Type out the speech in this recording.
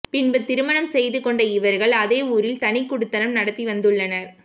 பின்பு திருமணம் செய்து கொண்ட இவர்கள் அதே ஊரில் தனிக்குடித்தனம் நடத்தி வந்துள்ளனர்